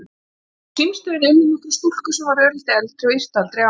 Á símstöðinni unnu nokkrar stúlkur sem voru örlítið eldri og yrtu aldrei á hana.